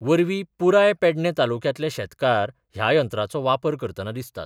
वरवीं पूराय पेडणे तालुक्यांतले शेतकार ह्या यंत्रांचो वापर करतनां दिसतात.